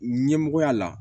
Ɲɛmɔgɔya la